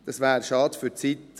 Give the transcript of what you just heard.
Es wäre schade um die Zeit.